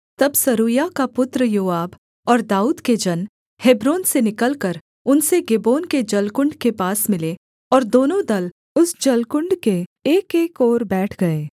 तब सरूयाह का पुत्र योआब और दाऊद के जन हेब्रोन से निकलकर उनसे गिबोन के जलकुण्ड के पास मिले और दोनों दल उस जलकुण्ड के एकएक ओर बैठ गए